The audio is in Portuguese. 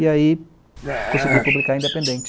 E aí consegui publicar independente.